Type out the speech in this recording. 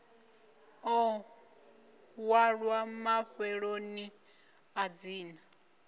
ḓo ṅwalwa mafheloni a dzina